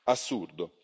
Assurdo!